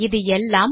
இது எல்லாம்